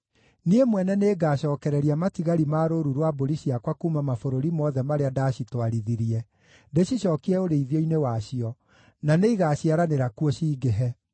“Niĩ mwene nĩngacookereria matigari ma rũũru rwa mbũri ciakwa kuuma mabũrũri mothe marĩa ndaacitwarithirie, ndĩcicookie ũrĩithio-inĩ wacio, na nĩigaciaranĩra kuo, cingĩhe.